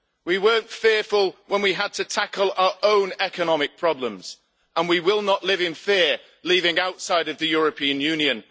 We weren't fearful when we had to tackle our own economic problems, and we will not live in fear living outside of the European Union.